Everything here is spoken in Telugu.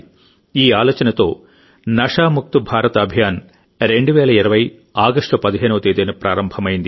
ఈ ఆలోచనతో నషా ముక్త్ భారత్ అభియాన్ 2020 ఆగస్టు 15వ తేదీన ప్రారంభమైంది